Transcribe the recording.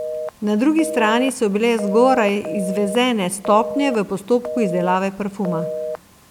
Na drugi strani so bile zgoraj izvezene stopnje v postopku izdelave parfuma.